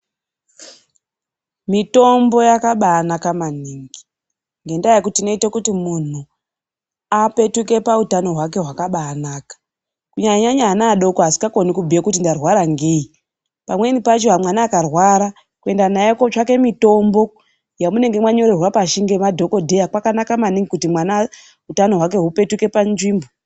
Mitombo yakabanaka manhingi, ngendaya yekuti inoita kuti munhu apetuke pautano hwake hwakabanaka, kunyanya nyanya vana vadoko vasingagoni kubhuya kuti ndarwara ngeyi. Pamweni pacho mwana akarwara kuenda naye kunotsvake mitombo yamunenge manyorerwa pashi ngamadhokodhera, kwakanaka manhingi kuti mwana hutano hwake hupetuke panzvimbo.